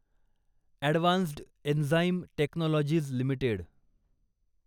advanced enzyme technologies limited